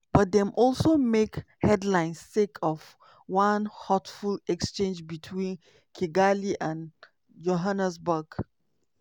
but dem also make headlines sake of one hurtful exchange between kigali and johannesburg.